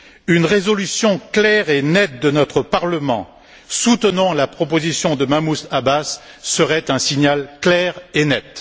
Une résolution claire et nette de notre Parlement soutenant la proposition de Mahmoud Abbas serait un signal clair et net.